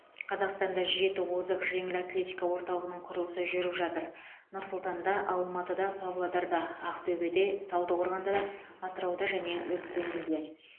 қазақстанда жеті озық жеңіл атлетика орталығының құрылысы жүріп жатыр нұр сұлтанда алматыда павлодарда ақтөбеде талдықорғанда атырауда және өскеменде